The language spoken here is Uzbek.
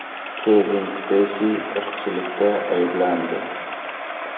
Kevin Speysi irqchilikda ayblandi.